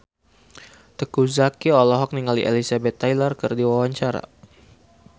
Teuku Zacky olohok ningali Elizabeth Taylor keur diwawancara